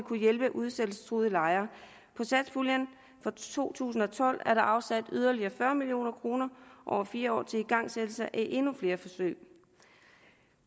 kunne hjælpe udsættelsestruede lejere på satspuljen for to tusind og tolv er der afsat yderligere fyrre million kroner over fire år til igangsættelse af endnu flere forsøg